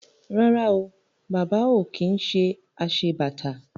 Rárá o, Bàbá ò kí ń ṣe aṣebàtà